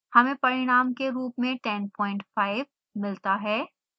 हमें परिणाम के रूप में 105 मिलता है